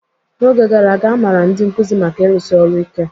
N'oge gara aga, a maara ndị nkuzi maka ịrụsi ọrụ ike.